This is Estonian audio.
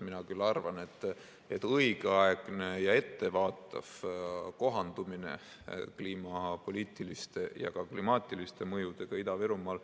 Mina küll arvan, et õigeaegne ja ettevaatav kohandumine kliimapoliitiliste ja klimaatiliste mõjudega Ida-Virumaal